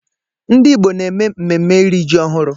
Ndị Igbo na-eme mmemme iri ji ọhụrụ.